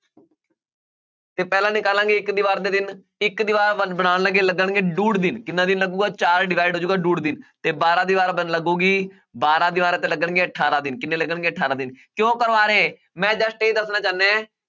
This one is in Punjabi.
ਤੇ ਪਹਿਲਾਂ ਨਿਕਾਲਾਂਗੇ ਇੱਕ ਦੀਵਾਰ ਦੇ ਦਿਨ ਇੱਕ ਦੀਵਾਰ ਬਣ~ ਬਣਾਉਣ ਲੱਗੇ ਲੱਗਣਗੇ ਡੂਢ ਦਿਨ ਕਿੰਨਾ ਦਿਨ ਲੱਗੇਗਾ ਚਾਰ divide ਹੋ ਜਾਏਗਾ ਡੂਢ ਦਿਨ ਤੇ ਬਾਰਾਂ ਦੀਵਾਰਾਂ ਲੱਗੇਗੀ, ਬਾਰਾਂ ਦੀਵਾਰਾਂ ਤੇ ਲੱਗਣਗੇ ਅਠਾਰਾਂ ਦਿਨ, ਕਿੰਨੇ ਲੱਗਣਗੇ ਅਠਾਰਾਂ ਦਿਨ ਕਿਉਂ ਕਰਵਾ ਰਿਹਾਂ ਇਹ, ਮੈਂ just ਇਹ ਦੱਸਣਾ ਚਾਹੁੰਦਾ ਹੈ